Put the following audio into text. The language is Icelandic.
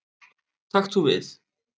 Takt þú við.